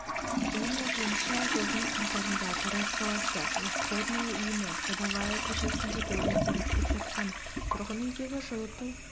оның айтуынша жылдың қаңтарында тараз қаласы восходная иіні садовая көшесіндегі өздері тұрып жатқан тұрғын үйдегі жылыту